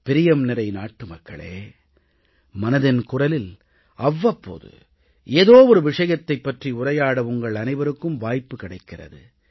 பிரியம்நிறை நாட்டு மக்களே மனதின் குரலில் அவ்வப்போது ஏதோ ஒரு விஷயத்தைப் பற்றி உரையாட உங்கள் அனைவருக்கும் வாய்ப்பு கிடைக்கிறது